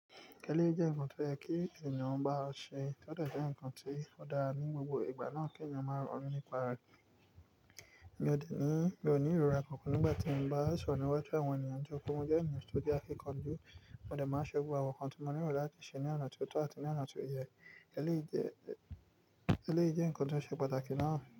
Kẹ́lé jẹ́ nǹkan tó yẹ kí ènìyàn má ṣe, ó dẹ dára jẹ́ nǹkan ti o dára ní gbogbo ìgbà náà kí ènìyàn máa rọrùn nípa rẹ̀. Mi ò ní ìrora kankan nígbà tí mo bá sọ̀rọ̀ níwájú àwọn ènìyàn nítorí pé mo jẹ́ ènìyàn tó ní akíkanjú, mo dẹ̀ máa n ṣẹ́ gbogbo àwọn nǹkan tí mo ní lo láti ṣe ní ọ̀nà tó tọ́ àti ní ọ̀nà tó yẹ. Ẹ́léyi jẹ́ èléyì je nǹkan tó ṣe pàtàkì náà.